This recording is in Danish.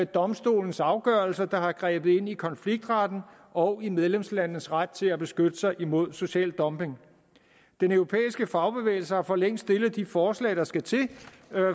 domstolens afgørelser der har grebet ind i konfliktretten og i medlemslandenes ret til at beskytte sig imod social dumping den europæiske fagbevægelse har for længst stillet de forslag der skal til